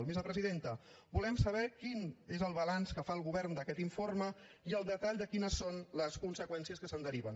vicepresidenta volem saber quin és el balanç que fa el govern d’aquest informe i el detall de quines són les conseqüències que se’n deriven